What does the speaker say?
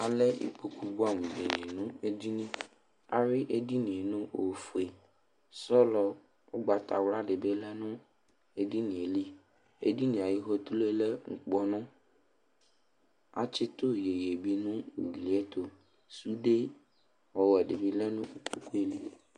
Alɛ ikpoku buɛ amu di nu edini ayui edini nu ofue sɔlɔ ugbatawli dibi yanu ɛfɛ ɛdini ayu fotru yɛ lɛ ukpɔnu atsitu iyeye nu ugli yɛtu sude ɔwɛdibilɛ nu ukpɛli